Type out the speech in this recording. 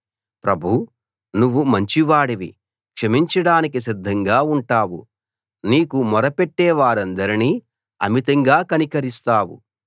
ప్రభూ నువ్వు మంచివాడివి క్షమించడానికి సిద్ధంగా ఉంటావు నీకు మొరపెట్టే వారందరినీ అమితంగా కనికరిస్తావు